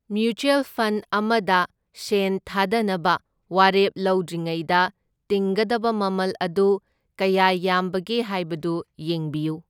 Mutual fund ꯑꯃꯗ ꯁꯦꯟ ꯊꯥꯗꯅꯕ ꯋꯥꯔꯦꯞ ꯂꯧꯗ꯭ꯔꯤꯉꯩꯗ ꯇꯤꯡꯒꯗꯕ ꯃꯃꯜ ꯑꯗꯨ ꯀꯌꯥ ꯌꯥꯝꯕꯒꯦ ꯍꯥꯏꯕꯗꯨ ꯌꯦꯡꯕꯤꯌꯨ꯫